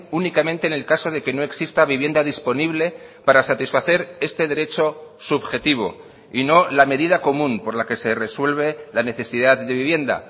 únicamente en el caso de que no exista vivienda disponible para satisfacer este derecho subjetivo y no la medida común por la que se resuelve la necesidad de vivienda